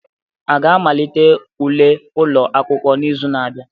A ga-amalite ule ụlọ akwụkwọ n'izu na-abịa?